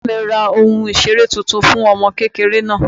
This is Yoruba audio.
Bàbá mí ra ohún ìseré tuntun fún ọmọ kékéré náá